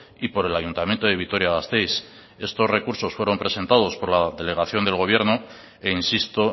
y por el ayuntamiento de vitoria gasteiz estos recursos fueron presentados por la delegación del gobierno e insisto